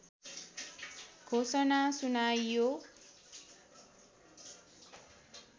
घोषणा सुनाइयो